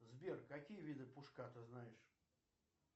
сбер какие виды пушка ты знаешь